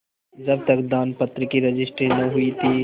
जब तक दानपत्र की रजिस्ट्री न हुई थी